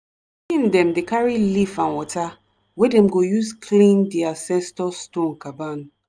pikin dem dey carry leaf and water wey dem go use clean di ancestor stone caban.